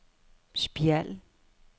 Spjald